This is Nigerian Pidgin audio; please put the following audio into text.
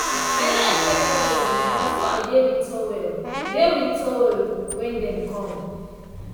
i no expect anybody na so i dey with towel dey with towel when dem come.